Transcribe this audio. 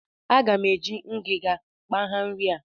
Aga m eji ngajị kpagha nri a